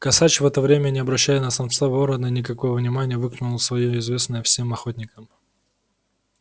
косач в это время не обращая на самца ворона никакого внимания выкликнул своё известное всем охотникам